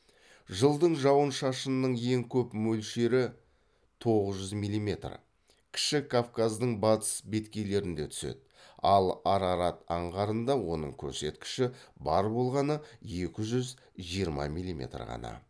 жылдың жауын шашынның ең көп мөлшері кіші кавказдың батыс беткейлерінде түседі ал арарат аңғарында оның көрсеткіші бар болғаны екі жүз жиырма милиметр ғана